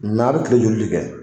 Nin na a be kilen joli de kɛ?